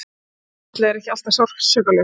Þetta ferli er ekki alltaf sársaukalaust.